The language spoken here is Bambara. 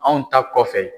Anw ta kɔfɛ